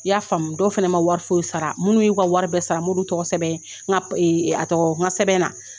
I y'a faamu dɔw fana ma wari foyi sara minnu y'u ka wari bɛɛ sara n m'olu tɔgɔ sɛbɛn a tɔgɔ n ka sɛbɛn na.